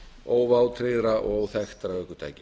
óvátryggðra og óþekktra ökutækja